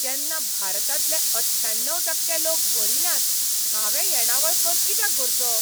जेन्ना भारतांतले अठ्ठ्याण्णव टक्के लोक भरिनात, हांवें येणावळ कर कित्याक भरचो?